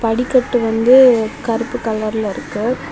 படிக்கட்டு வந்து கருப்பு கலர்ல இருக்கு.